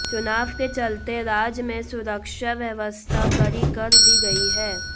चुनाव के चलते राज्य में सुरक्षा व्यवस्था कड़ी कर दी गई है